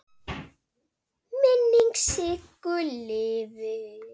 Minning Siggu lifir.